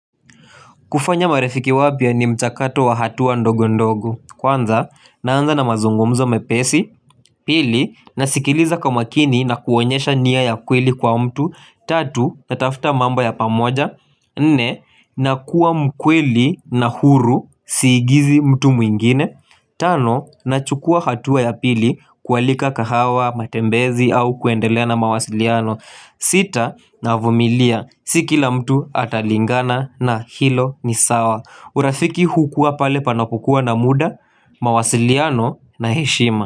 Kufanya marefiki wapia ni mchakato wa hatu wa ndogu ndogu. Kwanza, naanza na mazungumzo mepesi. Pili, nasikiliza kama kini na kuonyesha niya ya kweli kwa mtu. Tatu, natafuta mamba ya pamoja. Nne, na kuwa mkweli na huru siigizi mtu mwingine. Tano, na chukua hatu wa ya pili kualika kahawa, matembezi au kuendelea na mawasiliano. Sita na avumilia sikila mtu atalingana na hilo ni sawa urafiki hukua pale panapukua na muda mawasiliano na heshima.